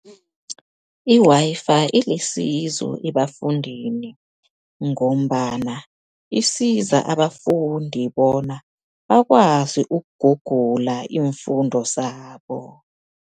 I-Wi-Fi ilisizo ebafundini, ngombana isiza abafundi bona bakwazi ukugugula iimfundo zabo.